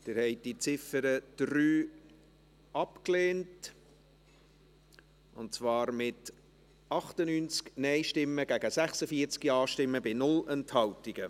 Sie haben die Ziffer 3 abgelehnt, mit 98 Nein- gegen 46 Ja-Stimmen bei 0 Enthaltungen.